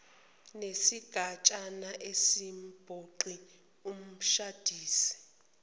nesigatshana asimphoqi umshadisi